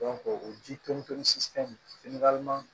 o ji tomi to